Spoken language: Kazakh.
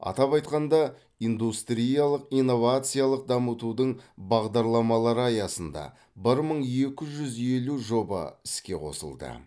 атап айтқанда индустриялық инновациялық дамытудың бағдарламалары аясында бір мың екі жүз елу жоба іске қосылды